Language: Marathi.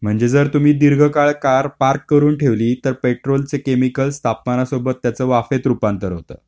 म्हणजे जर तुम्ही दीर्घकाळ कार पार्क करून ठेवली तर पेट्रोलचे केमिकल तापमानासोबत त्याचे वाफेत रूपांतर होतं.